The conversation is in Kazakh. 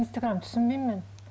инстаграм түсінбеймін мен